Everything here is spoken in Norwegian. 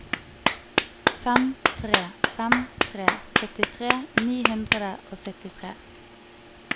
fem tre fem tre syttitre ni hundre og syttitre